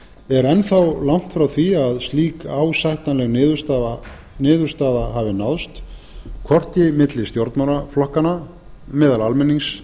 er enn þá langt frá því að slík ásættanleg niðurstaða hafi náðst hvorki milli stjórnmálaflokkanna meðal almennings